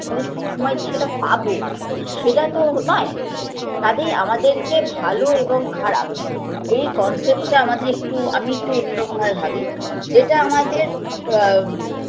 কিন্তু সবসময় যে সেটা পাবো সেটাতো নয় কাজেই আমাদেরকে ভালো এবং খারাপ এই concept -টা আমাদের একটু আমি একটু অন্যরকম ভাবে ভাবি যেটা আমাদের আ